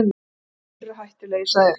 Rússarnir eru hættulegir, sagði